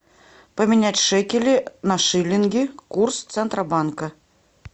поменять шекели на шиллинги курс центробанка